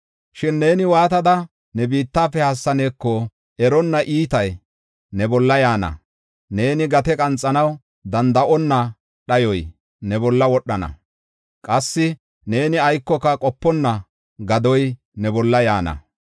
Shin neeni waatada ne bitan haassaneeko eronna iitay ne bolla yaana. Neeni gate qanxanaw danda7onna dhayoy ne bolla wodhana; qassi neeni aykoka qoponna gadoy ne bolla yaana.